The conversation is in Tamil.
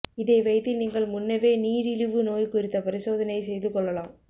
இதை வைத்து நீங்கள் முன்னவே நீரிழிவு நோய் குறித்த பரிசோதனை செய்துக் கொள்ளலாம்